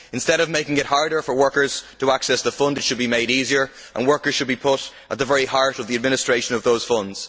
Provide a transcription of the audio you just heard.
Instead of making it harder for workers to access the fund, it should be made easier, and workers should be put at the very heart of the administration of the fund.